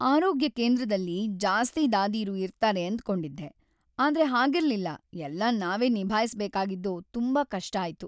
"""ಆರೋಗ್ಯ ಕೇಂದ್ರದಲ್ಲಿ ಜಾಸ್ತಿ ದಾದೀರು ಇರ್ತಾರೆ ಅಂದ್ಕೊಂಡಿದ್ದೆ, ಆದ್ರೆ ಹಾಗಿರ್ಲಿಲ್ಲ. ಎಲ್ಲ ನಾವೇ ನಿಭಾಯ್ಸ್‌ಬೇಕಾಗಿದ್ದು ತುಂಬಾ ಕಷ್ಟ ಆಯ್ತು"". "